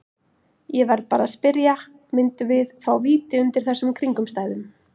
Ég verð bara að spyrja, myndum við fá víti undir þessum kringumstæðum?